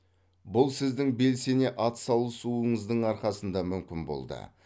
бұл сіздің белсене атсалысуыңыздың арқасында мүмкін болды